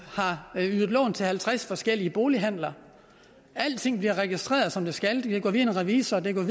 har ydet lån til halvtreds forskellige bolighandler alting bliver registreret som det skal det kan gå via en revisor og det kan